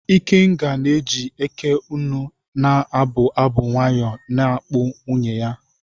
Ikenga na-eji Eké-ùnè na-abụ abụ nwayọ na-akpụ nwunye ya.